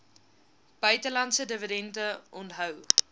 buitelandse dividende onthou